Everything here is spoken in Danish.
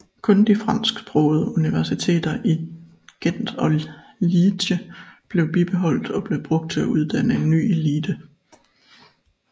Kun de fransksprogede universiteter i Gent og Liège blev bibeholdt og blev brugt til at uddanne en ny elite